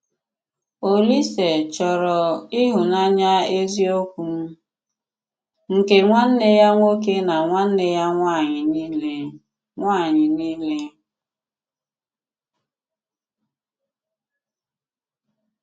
Òlísè chọ́rọ ịhụ́nanya eziokwu nke nwanne ya nwoke na nwanne ya nwanyị niile. nwanyị niile.